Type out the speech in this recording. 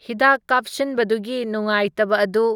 ꯍꯤꯗꯥꯛ ꯀꯥꯞꯁꯤꯟꯕꯗꯨꯒꯤ ꯅꯨꯡꯉꯥꯢꯇꯕ ꯑꯗꯨ